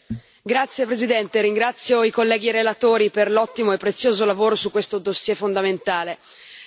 Signora Presidente, onorevoli colleghi, ringrazio i colleghi relatori per l'ottimo e prezioso lavoro su questo dossier fondamentale.